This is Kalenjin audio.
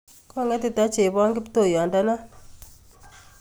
Kogetita chebon kiptoyondonon.